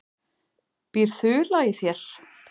Býr ÞULA í þér?